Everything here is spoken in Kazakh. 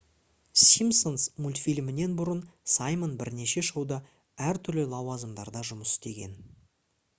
simpsons мультфильмінен бұрын саймон бірнеше шоуда әртүрлі лауазымдарда жұмыс істеген